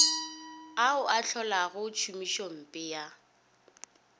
ao a hlolago tšhomišompe ya